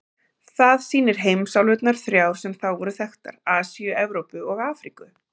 Það sýnir heimsálfurnar þrjár sem þá voru þekktar: Asíu, Evrópu og Afríku.